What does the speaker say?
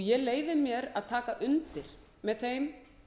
ég leyfi mér að taka undir með þeim